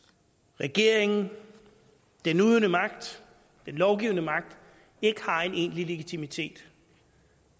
regeringen den udøvende magt den lovgivende magt ikke har en egentlig legitimitet